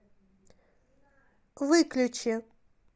выключи